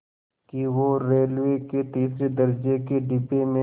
कि वो रेलवे के तीसरे दर्ज़े के डिब्बे में